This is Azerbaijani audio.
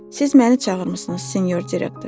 Siz məni çağırmısınız, sinyor direktor?